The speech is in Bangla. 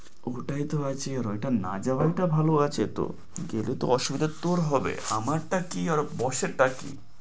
ওটাই তো আছে, ওটা না যাওয়াটা ভালো আছে তো। গেলে অসুবিধা তোর হবে আমার তা কি আর boss এর কি